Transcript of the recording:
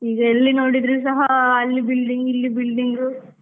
ಈಗ ಎಲ್ಲಿ ನೋಡಿದ್ರು ಸಹ ಅಲ್ಲಿ building , ಇಲ್ಲಿ building .